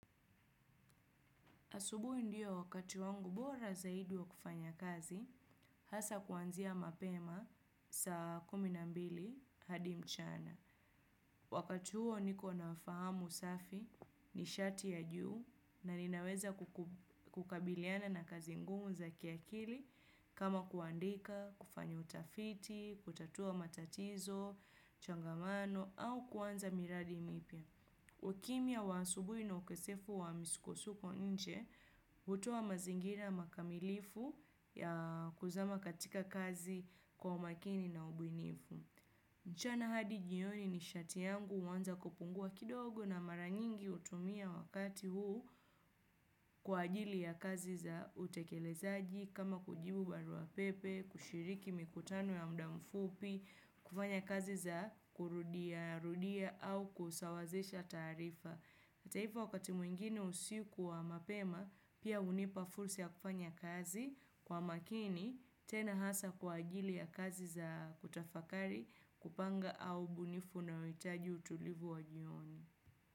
Asubuhi ndiyo wakati wangu bora zaidi wa kufanya kazi hasa kuanzia mapema saa kumi nambili hadi mchana. Wakati huo niko nafahamu safi ni shati ya juu na ninaweza kukabiliana na kazi ngumu za kiakili kama kuandika, kufanya utafiti, kutatua matatizo, changamano au kuanza miradi mipya. Ukimya wa asubui na ukosefu wa misukosuko nche utoa mazingira makamilifu ya kuzama katika kazi kwa makini na ubunifu. Mchana hadi jioni nishati yangu uanza kupungua kidogo na mara nyingi utumia wakati huu kwa ajili ya kazi za utekelezaji kama kujibu barua pepe, kushiriki mikutano ya muda mfupi, kufanya kazi za kurudia, rudia au kusawazesha tarifa. Hata hivyo wakati mwingine usiku wa mapema, pia unipa fursi ya kufanya kazi kwa makini, tena hasa kwa ajili ya kazi za kutafakari, kupanga au ubunifu unaoitaji utulivu wa jioni.